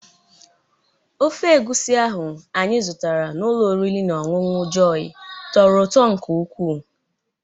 Ofe egwusi ahụ anyị zụtara n'ụlọ oriri na ọñụñụ Jọyi tọrọ ụtọ nke ukwuu.